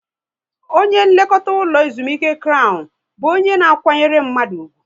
Onye nlekọta ụlọ ezumike Krown bụ onye na kwanyere mmadụ ugwu